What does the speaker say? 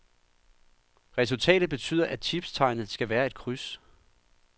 Resultatet betyder, at tipstegnet skal være et kryds.